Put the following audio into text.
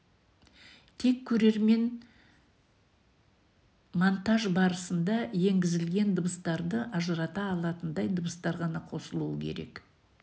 тек көрермен монтаж барысында енгізілген дыбыстарды ажырата алатындай дыбыстар ғана қосылуы керек